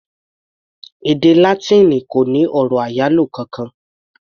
Èdè Látíìnì kò ní ọ̀rọ̀ àyálò kankan.